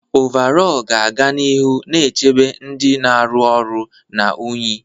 Ọvarọọr ga-aga n'ihu na-echebe ndị na-arụ ọrụ na unyi.